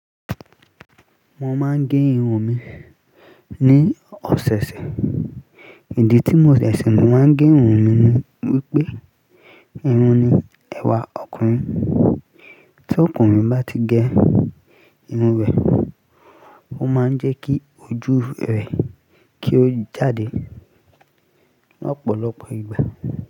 Mo máa ń gé irun mi ní ọ̀sẹ̀ẹ̀sẹ̀. Ìdí tí mo ṣẹ̀ṣẹ̀ máa ń gé irun mi ni wípé, irun ni ẹ̀wà ọkùnrin. Tí ọkùnrin bá ti gẹ irun rẹ̀, ó máa ń jẹ́ kí ojú rẹ̀ kí ó jáde lọ́pọ̀lọpọ̀ ìgbà.